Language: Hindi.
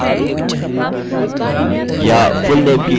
मैं इसे ठीक से रखता हूँ